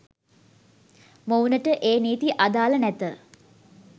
මොවුනට ඒ නීති අදාළ නැත